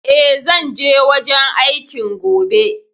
E, zan je wajen aikin gobe.